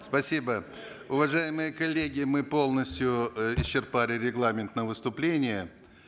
спасибо уважаемые коллеги мы полностью э исчерпали регламент на выступление